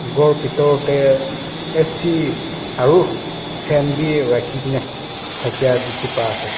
khor pethur de A_C aru fan bi rakhikena dekhi bai ase.